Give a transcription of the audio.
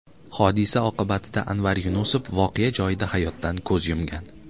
Hodisa oqibatida Anvar Yunusov voqea joyida hayotdan ko‘z yumgan.